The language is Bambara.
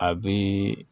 A bɛ